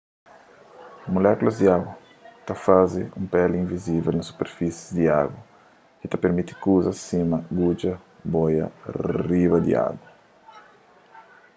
mulékulas di agu ta faze un peli invizivel na superfisi di agu ki ta pirmiti kuzas sima gudja boia riba di agu